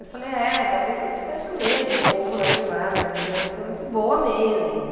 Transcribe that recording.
Eu falei, é, talvez eu seja mesmo um pouco mais mimada, minha vida sempre foi muito boa mesmo.